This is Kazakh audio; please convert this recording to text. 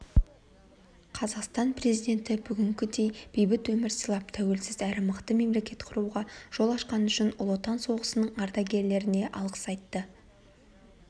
қазақстан президенті бүгінгідей бейбіт өмір сыйлап тәуелсіз әрі мықты мемлекет құруға жол ашқаны үшін ұлы отан соғысының ардагерлеріне алғыс айтты